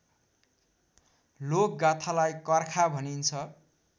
लोकगाथालाई कर्खा भनिन्छ